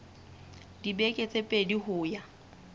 dibeke tse pedi ho ya